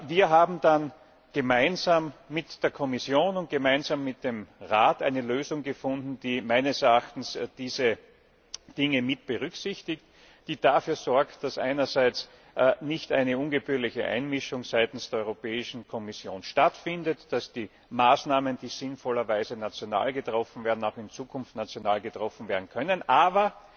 Wir haben dann gemeinsam mit der Kommission und gemeinsam mit dem Rat eine Lösung gefunden, die meines Erachtens diese Dinge mitberücksichtigt und die dafür sorgt, dass einerseits nicht eine ungebührliche Einmischung seitens der Europäischen Kommission stattfindet, dass die Maßnahmen, die sinnvollerweise national getroffen werden, auch in Zukunft national getroffen werden können, aber